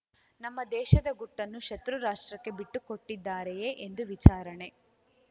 ನಮ್ಮ ದೇಶದ ಗುಟ್ಟನ್ನು ಶತ್ರುರಾಷ್ಟ್ರಕ್ಕೆ ಬಿಟ್ಟುಕೊಟ್ಟಿದ್ದಾರೆಯೇ ಎಂದು ವಿಚಾರಣೆ